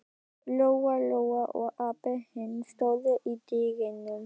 Lóa-Lóa og Abba hin stóðu í dyrunum.